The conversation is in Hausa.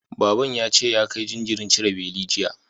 Baban ya ce ya kai jinjirin cire beli, jiya.